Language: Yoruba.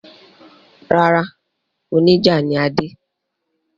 Rárá, oníjà ni Adé.